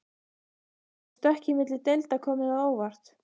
Hefur stökkið milli deilda komið á óvart?